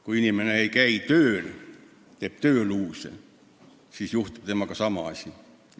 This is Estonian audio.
Kui inimene ei käi tööl, teeb tööluuse, siis juhtub temaga sama asi.